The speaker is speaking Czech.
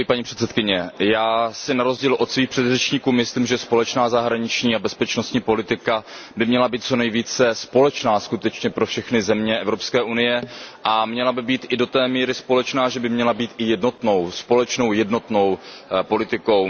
Paní předsedající, já si na rozdíl od svých předřečníků myslím, že společná zahraniční a bezpečnostní politika by měla být co nejvíce společná pro všechny země Evropské unie a měla by být i do té míry společná, že by měla být i společnou jednotnou politikou.